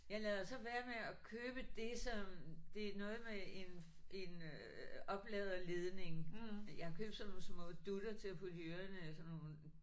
Jeg lader så være med at købe det som det noget med en en øh opladerledning jeg har købt sådan nogle små dutter til at putte i ørerne sådan nogle